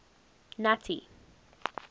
nuttie